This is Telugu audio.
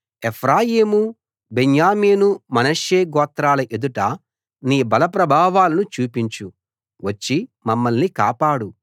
ఎఫ్రాయిము బెన్యామీను మనష్షే గోత్రాల ఎదుట నీ బల ప్రభావాలను చూపించు వచ్చి మమ్మల్ని కాపాడు